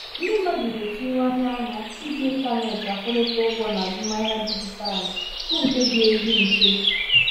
ndị mmadụ na-etinyewanye anya iji ịntanetị akwụrị́ta ụgwọ n'azụmahịa dijitalụ bụ nke dị ezi mfe.